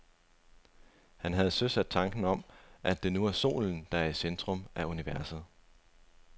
Han havde søsat tanken om, at det er solen, der er i centrum af universet.